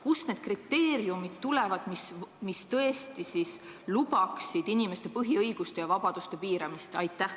Kust need kriteeriumid võetakse, mille alusel tõesti lubatakse inimeste põhiõiguste ja -vabaduste piiramist?